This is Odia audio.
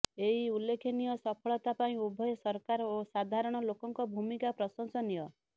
ଏହି ଉଲ୍ଲେଖନୀୟ ସଫଳତା ପାଇଁ ଉଭୟ ସରକାର ଓ ସାଧାରଣ ଲୋକଙ୍କ ଭୂମିକା ପ୍ରଶଂସନୀୟ